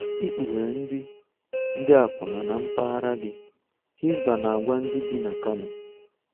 Ikpughe ndị ndị akwụna na mpaghara gị, Hisbah na-agwa ndị bi na Kano